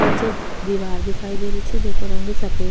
पाछे दीवार दिखाई देरी छे जेको रंग सफ़ेद --